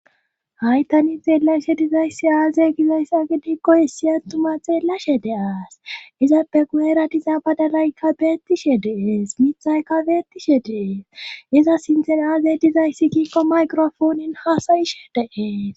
haytani xeelashe dizayssi aazey gizayss agidikkoyissi attuma xeellashe deaas izappe gu7eratiza badalaykka beettishe dees mithayka beettishe dees iza sinten aazey dizayssi gikko maykrofoonin hasayishe deees